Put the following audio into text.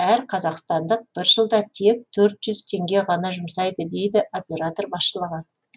әр қазақстандық бір жылда тек төрт жүз теңге ғана жұмсайды дейді оператор басшылығы